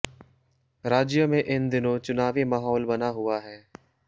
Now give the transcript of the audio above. राज्य में इन दिनों चुनावी माहौल बना हुआ है